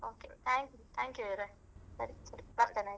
Hmm okay thank you thank you ಇವ್ರೇ ಸರಿ ಸರಿ ಬರ್ತೇನೆ ಆಯ್ತಾ .